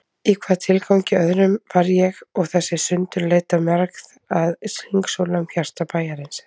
Í hvaða tilgangi öðrum var ég og þessi sundurleita mergð að hringsóla um hjarta bæjarins?